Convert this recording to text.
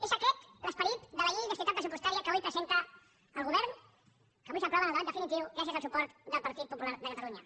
és aquest l’esperit de la llei d’estabilitat pressupostària que avui presenta el govern que avui s’aprova en el debat definitiu gràcies al suport del partit popular de catalunya